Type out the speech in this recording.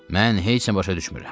Mən heç nə başa düşmürəm.